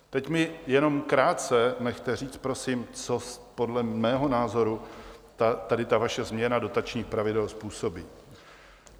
Teď mě jenom krátce nechte říct, prosím, co podle mého názoru tady ta vaše změna dotačních pravidel způsobí.